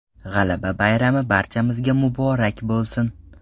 G‘alaba bayrami barchamizga muborak bo‘lsin!